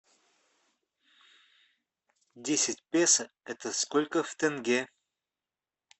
десять песо это сколько в тенге